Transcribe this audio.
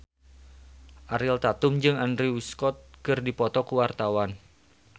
Ariel Tatum jeung Andrew Scott keur dipoto ku wartawan